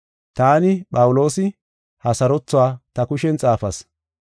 Taani, Phawuloosi, ha sarothuwa ta kushen xaafas.